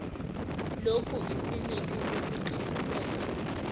lokhu isiliphi sesiqinisekiso